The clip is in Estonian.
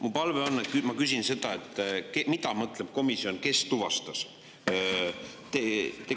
Mu palve on, ma küsin seda, et mida mõtleb komisjon sellega, kes tuvastas.